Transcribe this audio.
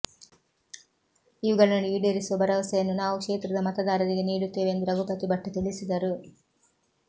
ಇವುಗಳನ್ನು ಈಡೇರಿಸುವ ಭರವಸೆಯನ್ನು ನಾವು ಕ್ಷೇತ್ರದ ಮತದಾರರಿಗೆ ನೀಡುತ್ತೇವೆ ಎಂದು ರಘುಪತಿ ಭಟ್ ತಿಳಿಸಿದರು